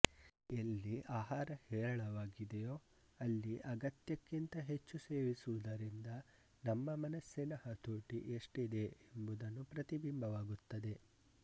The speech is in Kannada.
ಎಲ್ಲಿ ಆಹಾರ ಹೇರಳವಾಗಿದೆಯೋ ಅಲ್ಲಿ ಅಗತ್ಯಕ್ಕಿಂತ ಹೆಚ್ಚು ಸೇವಿಸುವುದರಿಂದ ನಮ್ಮ ಮನಸ್ಸಿನ ಹತೋಟಿ ಎಷ್ಟಿದೆ ಎಂಬುದನ್ನು ಪ್ರತಿಬಿಂಬಿವಾಗುತ್ತದೆ